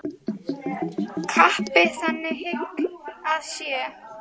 Kappi þaðan hygg að sé.